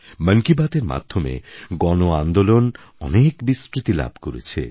মন কি বাতএর মাধ্যমে গণআন্দোলন অনেক বিস্তৃতি লাভ করেছে